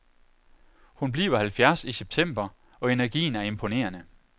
Hun bliver halvfjerds i september, og energien er imponerende.